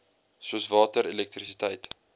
soos water elektrisiteit